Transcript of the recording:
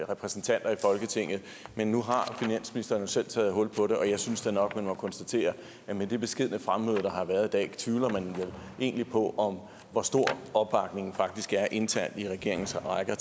repræsentanter i folketinget men nu har finansministeren jo selv taget hul på det og jeg synes da nok man må konstatere at med det beskedne fremmøde der har været i dag tvivler man egentlig på hvor stor opbakningen faktisk er internt i regeringens rækker